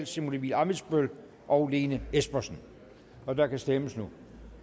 simon emil ammitzbøll og lene espersen og der kan stemmes nu